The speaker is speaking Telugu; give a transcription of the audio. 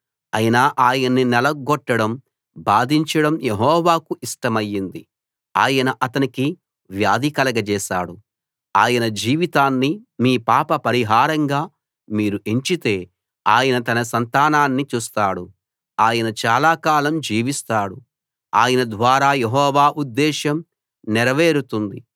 అయినా ఆయన్ని నలగ్గొట్టడం బాధించడం యెహోవాకు ఇష్టమయింది ఆయన అతనికి వ్యాధి కలగచేశాడు ఆయన జీవితాన్ని మీ పాప పరిహారంగా మీరు ఎంచితే ఆయన తన సంతానాన్ని చూస్తాడు ఆయన చాలాకాలం జీవిస్తాడు ఆయన ద్వారా యెహోవా ఉద్దేశం నెరవేరుతుంది